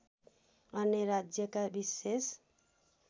अन्य राज्यका विशेष